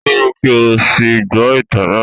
Dúró kí o sì gbọ́ ìtàn náà